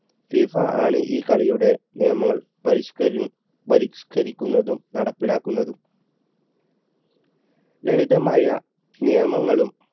FIFA ആണ് ഈ കളിയുടെ നിയമം പരിഷ്കരി പരിഷ്കരിക്കുന്നതും നടപ്പിലാക്കുന്നതും ലളിതമായ നിയമങ്ങളും